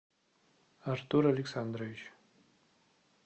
артур александрович